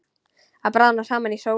Að bráðna saman í sólinni